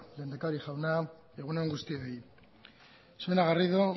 lehendakari jauna egun on guztioi señora garrido